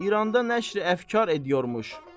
İranda nəşri əfkar ediyormuş.